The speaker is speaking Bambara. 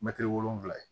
Mɛtiri wolonwula